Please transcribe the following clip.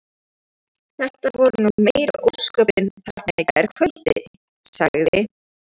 Þetta voru nú meiri ósköpin þarna í gærkvöldi sagði